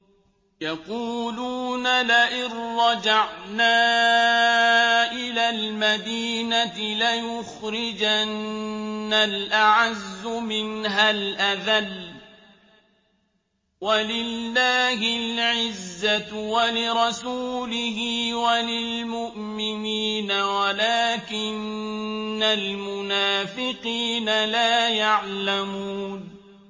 يَقُولُونَ لَئِن رَّجَعْنَا إِلَى الْمَدِينَةِ لَيُخْرِجَنَّ الْأَعَزُّ مِنْهَا الْأَذَلَّ ۚ وَلِلَّهِ الْعِزَّةُ وَلِرَسُولِهِ وَلِلْمُؤْمِنِينَ وَلَٰكِنَّ الْمُنَافِقِينَ لَا يَعْلَمُونَ